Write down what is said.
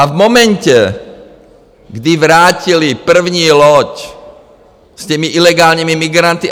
A v momentě, kdy vrátili první loď s těmi ilegálními migranty...